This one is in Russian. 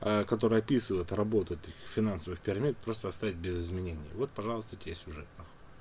ээ которая описывает работу таких финансовых пирамид просто оставить без изменений вот пожалуйста тебе сюжет нахуй